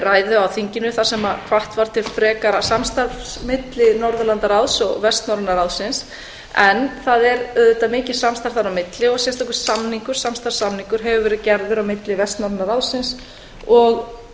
ræðu á þinginu þar sem hvatt var til frekara samstarfs milli norðurlandaráðs og vestnorræna ráðsins en það er auðvitað mikið samstarf þar á milli og sérstakur samningur samstarfssamningur hefur leið gerður á milli vestnorræna ráðinu og